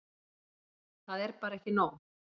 Það er bara ekki nóg.